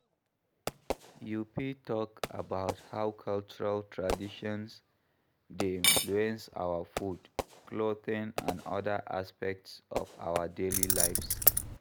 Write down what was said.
You fit talk about how cultural traditions dey influence our food, clothing and oda aspects of our daily lives.